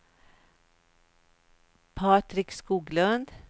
Patrik Skoglund